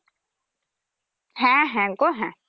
হ্যা হ্যা গো হ্যা